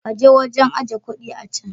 Ka je wajen ajiye kuɗi a can.